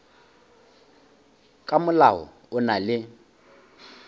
ka molao o na le